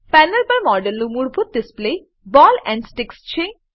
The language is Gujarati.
પેનલ પર મોડેલનું મૂળભૂત ડિસ્પ્લે બૉલ એન્ડ સ્ટિક છે